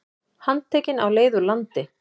Handtekinn á leið úr landi